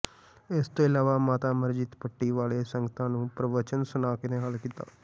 ਇਸ ਤੋ ਇਲਾਵਾ ਮਾਤਾ ਅਮਰਜੀਤ ਪੱਟੀ ਵਾਲੇ ਸੰਗਤਾਂ ਨੂੰ ਪ੍ਰਵਚਨ ਸੁਣਾ ਕੇ ਨਿਹਾਲ ਕੀਤਾ